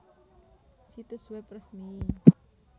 Situs web resmi